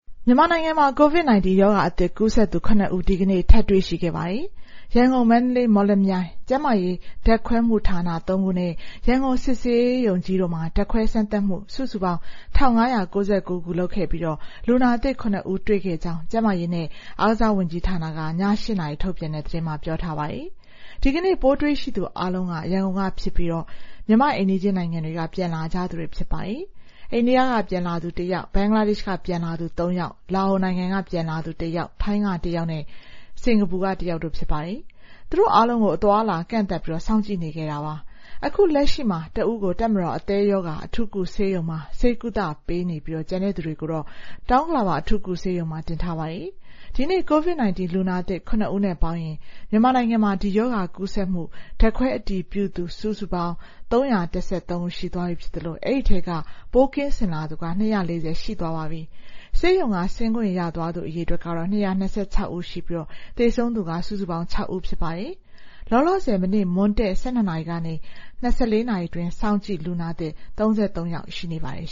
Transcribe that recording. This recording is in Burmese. မြန်မာနိုင်ငံမှာ COVID-19 ရောဂါအသစ်ကူးစက်သူ ၇ ဦး ဒီကနေ့ ထပ်တွေ့ရှိပါတယ်။ ရန်ကုန်၊ မန္တလေး၊ မော်လမြိုင် ကျန်းမာရေးဓာတ်ခွဲမှုှဌာန ၃ ခုနဲ့ ရန်ကုန် စစ်ဆေးရုံကြီးတို့မှာ ဓာတ်ခွဲစမ်းသပ်မှု စုစုပေါင်း ၁,၅၉၉ ခု လုပ်ခဲ့ပြီး လူနာသစ် ၇ ဦး တွေ့ခဲ့ကြောင်း ကျန်းမာရေးနဲ့ အားကစားဝန်ကြီးဌာနက ည ၈ နာရီ ထုတ်ပြန်တဲ့ သတင်းမှာ ပြောထားပါတယ်။ ဒီကနေ့ ပိုးတွေ့ရှိသူအားလုံးက ရန်ကုန်ကဖြစ်ကြပြီး မြန်မာ့အိမ်နီးချင်းနိုင်ငံတွေက ပြန်လာကြသူတွေ ဖြစ်ပါတယ်။ အိန္ဒိယကပြန်လာသူ ၁ ယောက်၊ ဘင်္ဂလားဒေ့ရှ်က ပြန်လာသူ ၃ ယောက်၊ လာအိုနိုင်ငံက ပြန်လာသူ ၁ ယောက်၊ ထိုင်းက ၁ ယောက်နဲ့ စင်ကာပူက ၁ ယောက်တို့ ဖြစ်ပါတယ်။ သူတို့အားလုံးကို အသွားအလာ ကန့်သတ်ပြီး စောင့်ကြည့်နေခဲ့တာ ဖြစ်ပါတယ်။ အခုလက်ရှိမှာ တဦးကို တပ်မတော် အသည်းရောဂါအထူးကုဆေးရုံမှာ ဆေးကုသပေးမှာဖြစ်ပြီး ကျန်တဲ့သူတွေကိုတော့ တောင်ဥက္ကလာပ အထူးကုဆေးရုံမှာ တင်ထားပါတယ်။ ဒီနေ့ COVID-19 လူနာသစ် ၇ ဦးနဲ့ ပေါင်းရင် မြန်မာနိုင်ငံမှာ ဒီရောဂါကူးစက်မှု ဓာတ်ခွဲအတည်ပြုသူပေါင်း ၃၁၃ ဦး ရှိသွားပြီဖြစ်သလို အဲဒီထဲက ပိုးကင်းစင်လာသူ ၂၄၀ ရှိသွားပါပြီ။ ဆေးရုံက ဆင်းခွင့်ရသွားသူ အရေအတွက်က ၂၂၆ ဦးရှိပြီး သေဆုံးသူက စုစုပေါင်း ၆ ဦး ဖြစ်ပါတယ်။ လောလောဆယ် မနေ့ မွန်းတည့် ၁၂ နာရီကနေ ၂၄ နာရီအတွင်း စောင့်ကြည့်လူနာအသစ် ၃၃ ယောက် ရှိနေပါတယ်